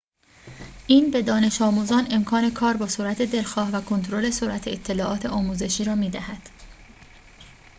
این به دانش‌آموزان امکان کار با سرعت دلخواه و کنترل سرعت اطلاعات آموزشی را می‌دهد